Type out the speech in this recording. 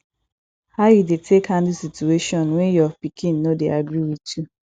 how you dey take handle situation when your pikin no dey agree with you